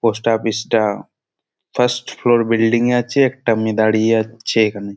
Post office -টা first floor building -এ আছে। একটা মেয়ে দাঁড়িয়ে আছে এখানে।